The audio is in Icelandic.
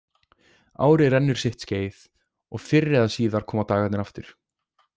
Árið rennur sitt skeið og fyrr eða síðar koma dagarnir aftur.